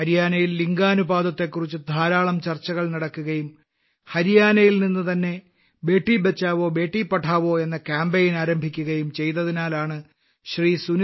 ഹരിയാനയിൽ ലിംഗാനുപാതത്തെക്കുറിച്ച് ധാരാളം ചർച്ചകൾ നടക്കുകയും ഹരിയാനയിൽ നിന്ന് തന്നെ ബേട്ടി ബച്ചാവോബേട്ടി പഠാവോ എന്ന കാമ്പെയ്ൻ ആരംഭിക്കുകയും ചെയ്തതിനാലാണ് ശ്രീ